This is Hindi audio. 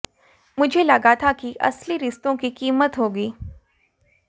मुझे लगा था कि असली रिश्तों की कीमत होगी